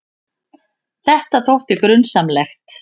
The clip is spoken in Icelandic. Þetta þótti grunsamlegt.